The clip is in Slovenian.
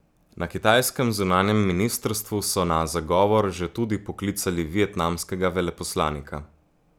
Na kitajskem zunanjem ministrstvu so na zagovor že tudi poklicali vietnamskega veleposlanika.